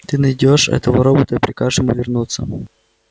ты найдёшь этого робота и прикажешь ему вернуться